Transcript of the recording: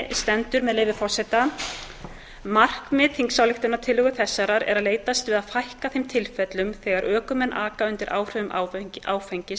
stendur með leyfi forseta markmið þingsályktunartillögu þessarar er að leitast við að fækka þeim tilfellum þegar ökumenn aka undir áhrifum áfengis og